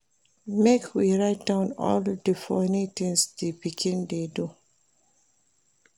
Make we write down all di funny things di pikin dey do.